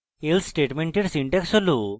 else স্টেটমেন্টের syntax হল